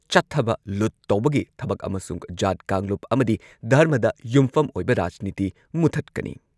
ꯆꯠꯊꯕ ꯂꯨꯠ ꯇꯧꯕꯒꯤ ꯊꯕꯛ ꯑꯃꯁꯨꯡ ꯖꯥꯠ ꯀꯥꯡꯂꯨꯞ ꯑꯃꯗꯤ ꯙꯔꯃꯗ ꯌꯨꯝꯐꯝ ꯑꯣꯏꯕ ꯔꯥꯖꯅꯤꯇꯤ ꯃꯨꯊꯠꯀꯅꯤ꯫